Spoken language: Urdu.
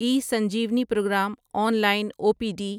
E Sanjeevani program online O P D